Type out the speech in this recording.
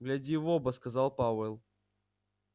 гляди в оба сказал пауэлл